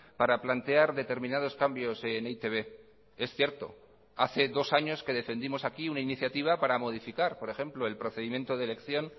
para plantear determinados cambios en e i te be es cierto hace dos años que defendimos aquí una iniciativa para modificar por ejemplo el procedimiento de elección